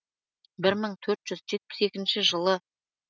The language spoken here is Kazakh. бір мың төрт жүз жетпіс екінші жылы